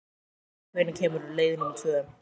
Dynja, hvenær kemur leið númer tvö?